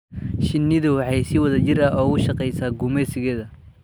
Shinnidu waxay si wada jir ah ugu shaqeysaa gumeysigeeda.